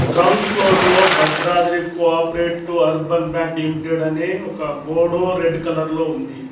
Ground floor లో Bhadradri cooperative urban bank limited అని ఒక బోర్డు రెడ్ కలర్ లో ఉంది.